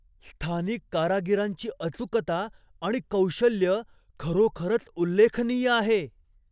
स्थानिक कारागिरांची अचूकता आणि कौशल्य खरोखरच उल्लेखनीय आहे.